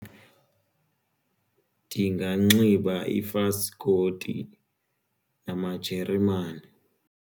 Ndinganxiba ifaskoti namajeremani.